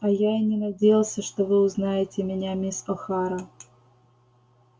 а я и не надеялся что вы узнаете меня мисс охара